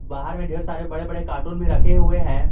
बाहर में ढेर सारे बड़े बड़े कार्टून भी रखे हुए है।